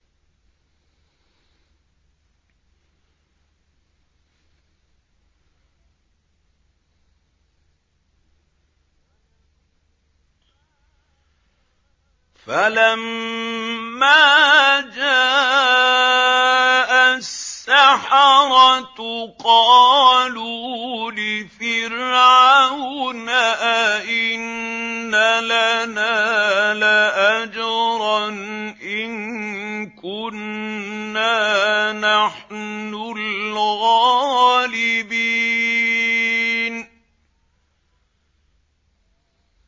فَلَمَّا جَاءَ السَّحَرَةُ قَالُوا لِفِرْعَوْنَ أَئِنَّ لَنَا لَأَجْرًا إِن كُنَّا نَحْنُ الْغَالِبِينَ